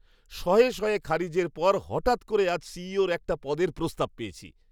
শয়ে শয়ে খারিজের পর হঠাৎ করে আজ সিইও'র একটা পদের প্রস্তাব পেয়েছি!